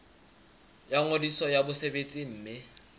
la ngodiso ya mosebetsi mme